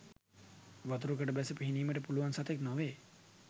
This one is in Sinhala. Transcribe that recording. වතුරකට බැස පිහිනීමට පුළුවන් සතෙක් නොවේ.